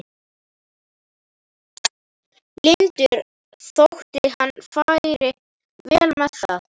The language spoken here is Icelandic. lyndur þótt hann færi vel með það.